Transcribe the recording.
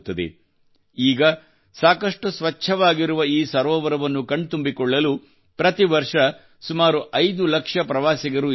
ಈಗ ಸಾಕಷ್ಟು ಸ್ವಚ್ಛವಾಗಿರುವ ಈ ಸರೋವರವನ್ನು ಕಣ್ತುಂಬಿಕೊಳ್ಳಲು ಪ್ರತಿ ವರ್ಷ ಸುಮಾರು 5 ಲಕ್ಷ ಪ್ರವಾಸಿಗರು ಇಲ್ಲಿಗೆ ಬರುತ್ತಾರೆ